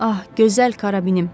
Ah, gözəl karabinim!